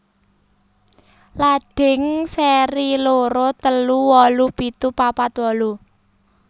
Ladhing seri loro telu wolu pitu papat wolu